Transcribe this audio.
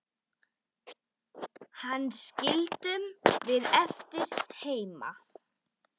Hana skildum við eftir heima.